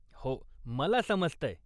हो. मला समजतंय.